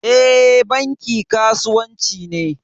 E, Banki kasuwanci ne.